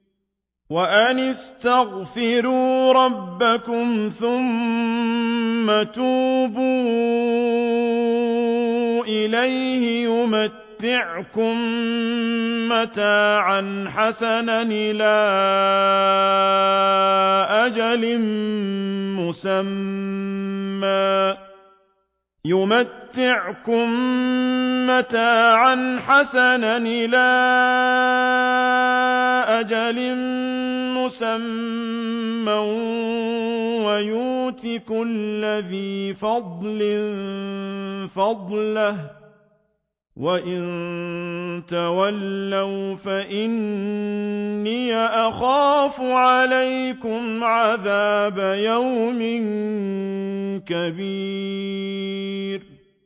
وَأَنِ اسْتَغْفِرُوا رَبَّكُمْ ثُمَّ تُوبُوا إِلَيْهِ يُمَتِّعْكُم مَّتَاعًا حَسَنًا إِلَىٰ أَجَلٍ مُّسَمًّى وَيُؤْتِ كُلَّ ذِي فَضْلٍ فَضْلَهُ ۖ وَإِن تَوَلَّوْا فَإِنِّي أَخَافُ عَلَيْكُمْ عَذَابَ يَوْمٍ كَبِيرٍ